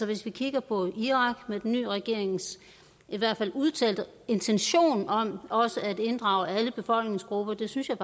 hvis vi kigger på irak og den nye regerings i hvert fald udtalte intention om også at inddrage alle befolkningsgrupper synes jeg